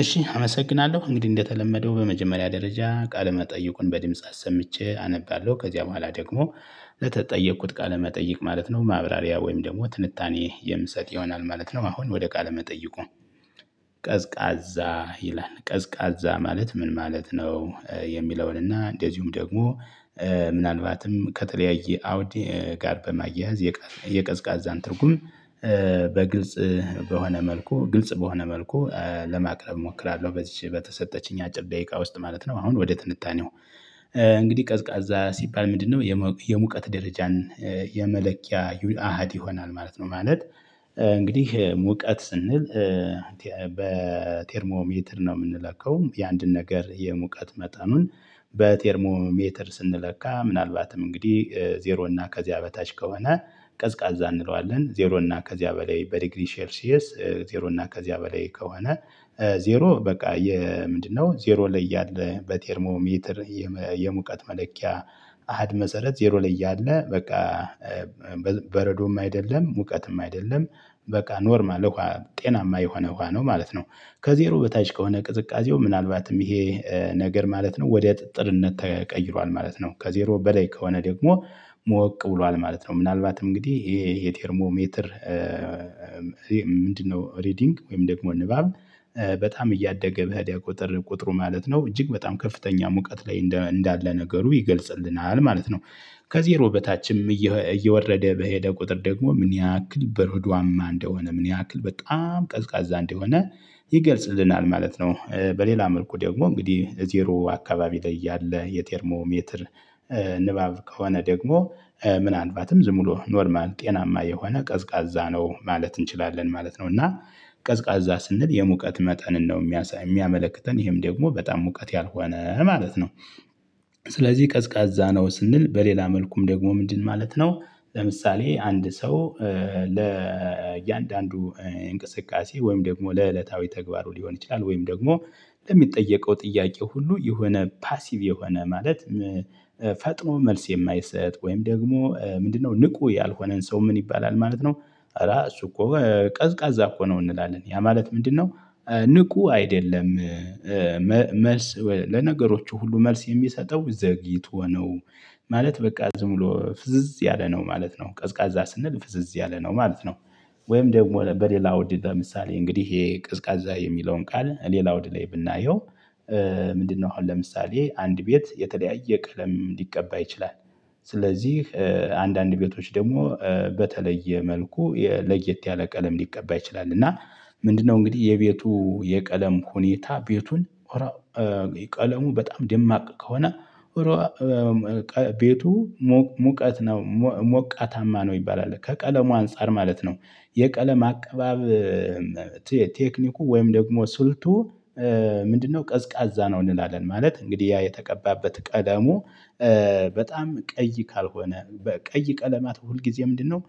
እሺ አመሰግናለሁ እንግዲህ እንደተለመደው በመጀመሪያ ደረጃ ቃለ መጠይቁን በድምጽ አሰምቼ አነባለሁ ከዚያ በኋላ ደግሞ ለተጠየቅኩት ቃለመጠይቅ ማለት ነው ማብራሪያ ወይም ደግሞ ትንታኔ የምሰጥ ይሆናል ማለት ነው። አሁን ወደ ቃለ መጠይቁ ቀዝቃዛ ይላል ቀዝቃዛ ማለት ምን ማለት ነው የሚለውን እና እንደዚሁም ደግሞ ምናልባትም ከተለያየ አውድ ጋር በማያያዝ የቀዝቃዛን ትርጉም በግልጽ በሆነ መልኩ ግልጽ በሆነ መልኩ ለማቅረብ እሞክራለሁ። በዚች በተሰጠችኝ አጭር ደቂቃ ውስጥ ማለት ነው። አሁን ወደ ትንታኔው እንግዲህ ቀዝቃዛ ሲባል ምንድነው? የሙቀት ደረጃን የመለኪያ አሃድ ይሆናል ማለት ነው። ማለት እንግዲህ ሙቀት ስንል በቴርሞ ሜትር ነው የምንለከው የአንድን ነገር የሙቀት መጠኑን በቴርሞ ሜትር ስንለካ ምናልባትም እንግዲህ ዜሮ እና ከዚያ በታች ከሆነ ቀዝቃዛ እንለዋለን። ዜሮ እና ከዚያ በላይ በዲግሪ ሼር ሲየስ ዜሮ እና ከዚያ በላይ ከሆነ። ዜሮ በቃ የ የምንድነው ዜሮ ላይ ያለ በቴርሞ ሜትር የሙቀት መለኪያ አሃድ መሰረት ዜሮ ላይ እያለ በቃ በረዶም አይደለም ሙቀትም አይደለም በቃ ኖርማል ጤናማ የሆነ ውሃ ነው ማለት ነው። ከዜሮ በታች ከሆነ ቅዝቃዜው ምናልባትም ይሄ ነገር ማለት ነው ወዲያ ጥጥርነት ተቀይሯል ማለት ነው። ከዜሮ በላይ ከሆነ ደግሞ ሞቅ ብሏል ማለት ነው። ምናልባትም እንግዲህ ይሄ የቴርሞ ሜትር ምንድነው? ሪዲንግ ወይም ደግሞ ንባብ በጣም እያደገ ብሄድ ቁጥር ቁጥሩ ማለት ነው እጅግ በጣም ከፍተኛ ሙቀት ላይ እንዳለ ነገሩ ይገልጽልናል ማለት ነው። ከዜሮ በታችም እየወረደ በሄደ ቁጥር ደግሞ ምን ያህል በርዱአማ እንደሆነ ምን ያህል በጣም ቀዝቃዛ እንደሆነ ይገልጽልናል ማለት ነው። በሌላ ምርኩ ደግሞ እንግዲህ ዜሮ አካባቢ ላይ ያለ የቴርሞሜትር ንባብ ከሆነ ደግሞ ምን አልባትም ዝም ብሎ ኖርማል ጤናማ የሆነ ቀዝቃዛ ነው ማለት እንችላለን ማለት ነው። እና ቀዝቃዛ ስንል የሙቀት መጠንን ነው የሚያመለክተን ይሄም ደግሞ በጣም ሙቀት ያልሆነ ማለት ነው። ስለዚህ ቀዝቃዛ ነው ስንል በሌላ መልኩም ደግሞ ምንድን ማለት ነው? ለምሳሌ አንድ ሰው ለእያንዳንዱ እንቅስቃሴ ወይም ደግሞ ለዕለታዊ ተግባሩ ሊሆን ይችላል ወይም ደግሞ ለሚጠየቀው ጥያቄው ሁሉ የሆነ ፓሲቭ የሆነ ማለት ፈጥኖ መልስ የማይሰጥ ወይም ደግሞ ምንድነው ንቁ ያልሆነን ሰው ምን ይባላል ማለት ነው። ራሱ እኮ ቀዝቃዛ እኮ ነው እንላለን ያ ማለት ምንድነው? ንቁ አይደለም። መልስ ለነገሮቹ ሁሉ መልስ የሚሰጠው ዘግይቶ ነው። ማለት በቃ ዝም ብሎ ፍዝዝ ያለ ነው ማለት ነው ቀዝቃዛ ስንል ፍዝዝ ያለ ነው ማለት ነው። ወይም ደግሞ በሌላ ወዲተ ለምሳሌ እንግዲህ ይሄ ቅዝቃዜ የሚለውን ቃል ሌላው ውድ ላይ ብናየው። ምንድነው? አሁን ለምሳሌ አንድ ቤት የተለያየ ቀለም ሊቀባይ ይችላል። ስለዚህ አንዳንድ ቤቶች ደግሞ በተለየ መልኩ ለየት ያለ ቀለም ሊቀባ ይችላል። እና ምንድነው እንግዲህ የቤቱ የቀለም ሁኔታ ቤቱን ቀለሙ በጣም ደማቅ ከሆነ ቤቱ ሙቀት ነው ሞቃታማ ነው ይባላል ከቀለሙ አንፃር ማለት ነው። የቀለም አቀባብ ቴክኒኩ ወይም ደግሞ ስልቱ ምንድነው? ቀዝቃዛ ነው እንላለን ማለት እንግዲህ ያ የተቀባበት ቀደሙ በጣም ቀይ ካልሆነ በቀይ ቀለማት ሁልጊዜ ምንድነው